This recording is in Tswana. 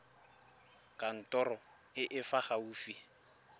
kantorong e e fa gaufi